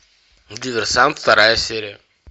диверсант вторая серия